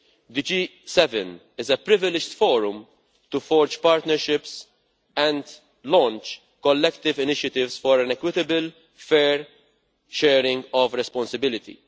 The G7 is a privileged forum to forge partnerships and launch collective initiatives for an equitable and fair sharing of responsibility.